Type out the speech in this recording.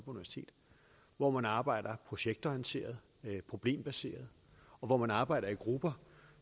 hvor man arbejder projektorienteret problembaseret og hvor man arbejder i grupper